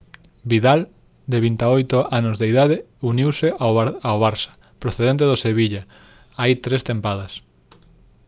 vidal de 28 anos de idade uniuse ao barça procedente do sevilla hai tres tempadas